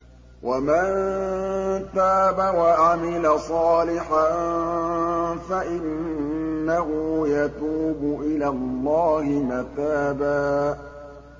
وَمَن تَابَ وَعَمِلَ صَالِحًا فَإِنَّهُ يَتُوبُ إِلَى اللَّهِ مَتَابًا